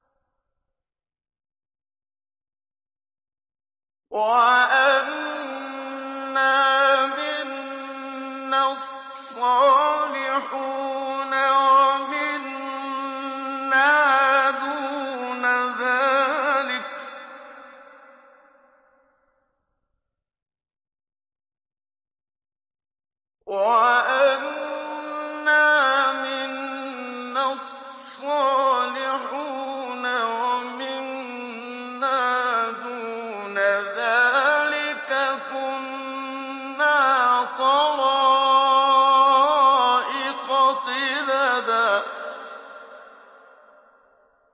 وَأَنَّا مِنَّا الصَّالِحُونَ وَمِنَّا دُونَ ذَٰلِكَ ۖ كُنَّا طَرَائِقَ قِدَدًا